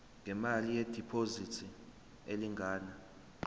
ngemali yediphozithi elingana